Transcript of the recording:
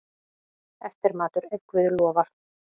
Eftirmatur, ef guð lofar.